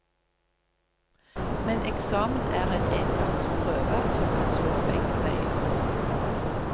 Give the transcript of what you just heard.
Men eksamen er en engangsprøve som kan slå begge veier.